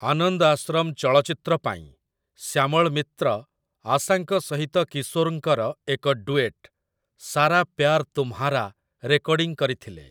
ଆନନ୍ଦ ଆଶ୍ରମ' ଚଳଚ୍ଚିତ୍ର ପାଇଁ ଶ୍ୟାମଳ ମିତ୍ର ଆଶାଙ୍କ ସହିତ କିଶୋରଙ୍କର ଏକ ଡୁଏଟ୍, ସାରା ପ୍ୟାର୍ ତୁମ୍‌ହାରା ରେକର୍ଡିଂ କରିଥିଲେ ।